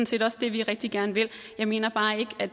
set også det vi rigtig gerne vil vi mener bare ikke at